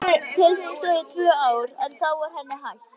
Tilraunin stóð í tvö ár en þá var henni hætt.